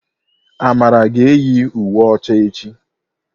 Amara ga-eyi uwe ọcha echi.